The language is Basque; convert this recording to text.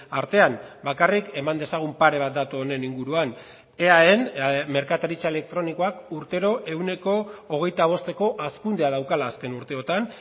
artean bakarrik eman dezagun pare bat datu honen inguruan eaen merkataritza elektronikoak urtero ehuneko hogeita bosteko hazkundea daukala azken urteotan